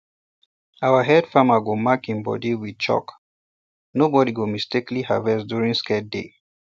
our head farmer go mark im body with chalk so nobody go mistakenly harvest during sacred day